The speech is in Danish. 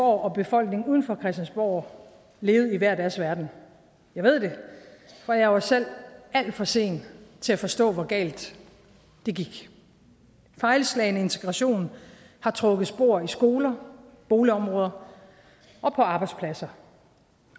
og befolkningen uden for christiansborg levede i hver deres verden jeg ved det for jeg var selv alt for sen til at forstå hvor galt det gik fejlslagen integration har trukket spor i skoler boligområder og på arbejdspladser